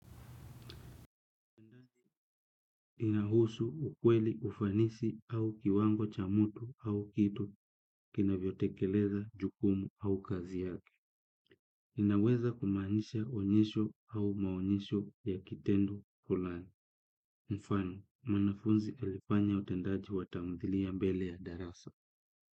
Inahusu ukweli ufanisi au kiwango cha mtu au kitu kinavyotekeleza jukumu au kazi yake. Inaweza kumanisha onyesho au maonyesho ya kitendo fulani. Mfano, mwanafunzi alifanya utendaji wa tamthilia mbele ya darasa.